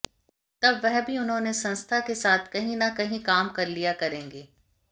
तब वह भी उन्होंने संस्था के साथ कहीं न कहीं काम कर लिया करेगी